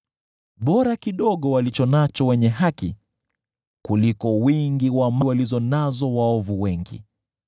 Bora kidogo walicho nacho wenye haki kuliko wingi wa mali wa waovu wengi;